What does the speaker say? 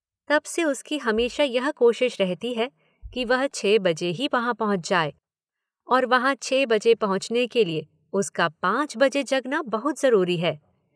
तब से उसकी हमेशा यह कोशिश रहती है कि वह छह बजे ही वहां पहुंच जाए— और वहां छह बजे पहुंचने के लिए उसका पांच बजे जगना बहुत जरूरी है।